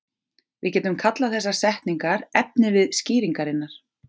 Við getum kallað þessar setningar efnivið skýringarinnar.